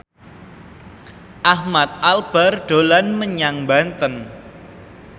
Ahmad Albar dolan menyang Banten